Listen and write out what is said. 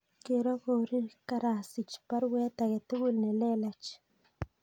Gero korir karasich baruet age tugul nelelach